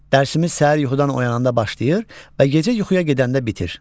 Dərsimiz səhər yuxudan oyananda başlayır və gecə yuxuya gedəndə bitir.